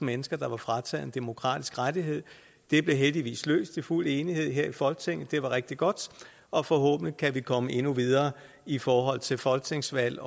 mennesker der var frataget en demokratisk rettighed det blev heldigvis løst i fuld enighed her i folketinget det var rigtig godt og forhåbentlig kan vi komme endnu videre i forhold til folketingsvalg